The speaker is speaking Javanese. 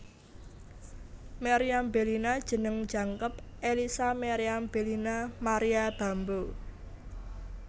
Meriam Bellina jeneng jangkep Ellisa Meriam Bellina Maria Bamboe